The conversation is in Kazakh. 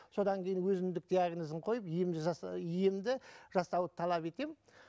содан кейін өзіндік диагнозын қойып ем жаса емді жасауды талап етемін